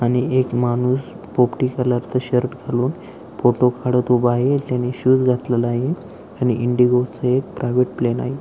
आणि एक माणूस पोपटी कलर चा शर्ट घालून फोटो काढत उभा आहे. त्यांनी शूज घातलेला आहे आणि इंडिगो चं एक प्रायव्हेट प्लेन आहे.